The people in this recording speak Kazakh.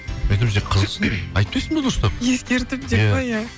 мен айтамын сен қызықсың айтпайсың ба дұрыстап ескертіп деп пе иә